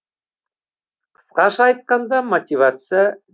қысқаша айтқанда мотивация